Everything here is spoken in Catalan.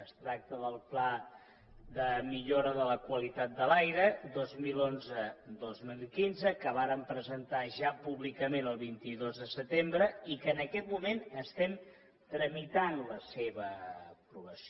es tracta del pla de millora de la qualitat de l’aire dos mil onze dos mil quinze que vàrem presentar ja públicament el vint dos de setembre i que en aquest moment estem tramitant la seva aprovació